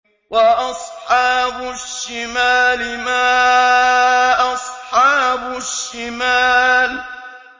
وَأَصْحَابُ الشِّمَالِ مَا أَصْحَابُ الشِّمَالِ